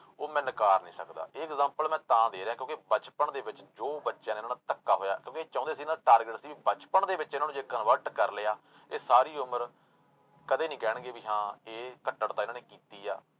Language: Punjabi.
ਉਹ ਮੈਂ ਨਾਕਾਰ ਨੀ ਸਕਦਾ ਇਹ example ਮੈਂ ਤਾਂ ਦੇ ਰਿਹਾਂ ਕਿਉਂਕਿ ਬਚਪਨ ਦੇ ਵਿੱਚ ਜੋ ਬੱਚਿਆਂ ਦੇ ਨਾਲ ਧੱਕਾ ਹੋਇਆ ਕਿਉਂਕਿ ਇਹ ਚਾਹੁੰਦੇ ਸੀ ਨਾ target ਸੀ ਵੀ ਬਚਪਨ ਦੇ ਵਿੱਚ ਇਹਨਾਂ ਨੂੰ ਜੇ convert ਕਰ ਲਿਆ, ਇਹ ਸਾਰੀ ਉਮਰ ਕਦੇ ਨੀ ਕਹਿਣਗੇ ਵੀ ਹਾਂ ਇਹ ਕੱਟੜਤਾ ਇਹਨਾਂ ਨੇ ਕੀਤੀ ਆ।